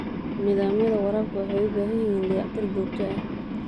Nidaamyada waraabka waxay u baahan yihiin dayactir joogto ah.